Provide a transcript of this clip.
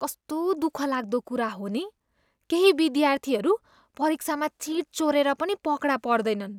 कस्तो दुखलाग्दो कुरा हो नि, केही विद्यार्थीहरू परीक्षामा चिट चोरेर पनि पकडा पर्दैनन्।